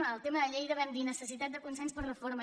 en el tema de lleida vam dir necessitat de consens per a la reforma